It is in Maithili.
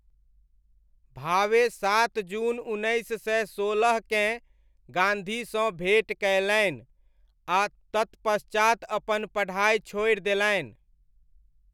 भावे सात जून उन्नैस सय सोलहकेँ गाँधीसँ भेँट कयलनि आ तत्पश्चात अपन पढ़ाइ छोड़ि देलनि।